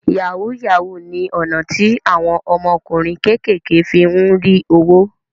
Yahoo yahoo ni ọ̀nà tí àwọn ọmọkùnrin kékèké fí ń rí owó